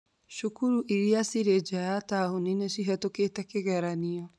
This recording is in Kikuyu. Cukuru iria cirĩ nja ya taũni nĩ cihitukite kĩgeranio